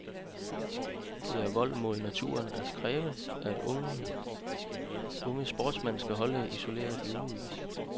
Det er vold mod naturen at kræve, at unge sportsmænd skal holdes isoleret i ugevis.